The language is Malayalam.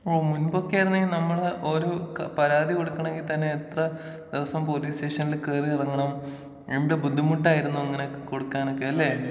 ഓ മുമ്പൊക്കെ ആയിരുന്നെങ്കി നമ്മള് ഒരു പരാതി കൊടുക്കണങ്കി തന്നെ എത്ര ദിവസം പോലീസ് സ്റ്റേഷനിൽ കേറി ഇറങ്ങണം എന്തു ബുദ്ധിമുട്ടായിരുന്നു അങ്ങനെയൊക്കെ കൊടുക്കാനൊക്കെ അല്ലേ.